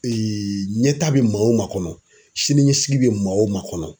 ɲɛta bɛ maa o maa kɔnɔ siniɲɛsigi bɛ maa o maa kɔnɔ.